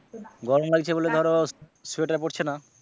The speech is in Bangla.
গরম লাগছে বলে ধরো sweater পড়ছে না।